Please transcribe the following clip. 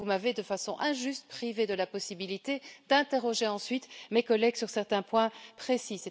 Vous m'avez, de façon injuste, privée de la possibilité d'interroger ensuite mes collègues sur certains points précis.